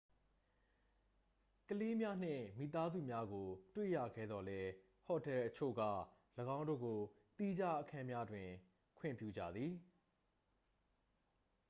ကလေးများနှင့်မိသားစုများကို တွေ့ရခဲသော်လည်း ဟိုတယ်အချို့က ၎င်းတို့ကို သီးခြားအခန်းများတွင် ခွင့်ပြုကြသည်